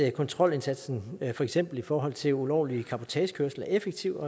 at kontrolindsatsen for eksempel i forhold til ulovlig cabotagekørsel er effektiv